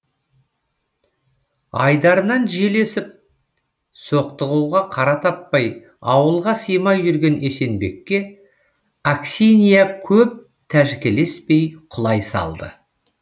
айдарынан жел есіп соқтығуға қара таппай ауылға симай жүрген есенбекке аксинья көп тәжікелеспей құлай салды